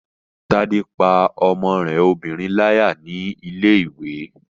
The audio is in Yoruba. Tádé pá ọmọ rẹ obìnrin láyà ní ilé-ìwé